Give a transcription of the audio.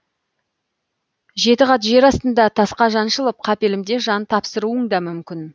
жеті қат жер астында тасқа жаншылып қапелімде жан тапсыруың да мүмкін